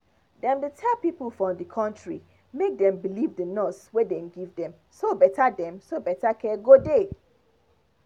them dey tell pipo for the country make them believe the nurse wey dem give dem so better dem so better care go dey